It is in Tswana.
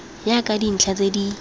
ya ka dintlha tse di